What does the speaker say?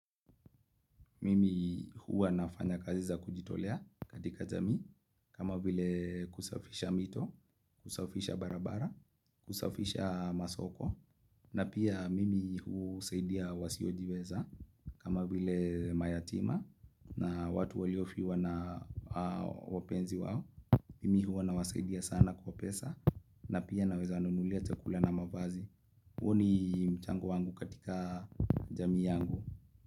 Mimi huwa nafanya kazi za kujitolea katika jamii kama vile kusafisha mito, kusafisha barabara, kusafisha masoko na pia mimi husaidia wasiojiweza kama vile mayatima na watu waliofiwa na wapenzi wao. Mimi huwa na wasaidia sana kwa pesa na pia na weza wanunulia chakula na mavazi. Huo ni mchango wangu katika jamii yangu.